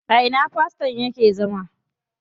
A ina faston yake zama?